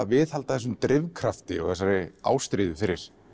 viðhalda þessum drifkrafti og þessari ástríðu fyrir